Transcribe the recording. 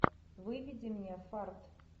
выведи мне фарт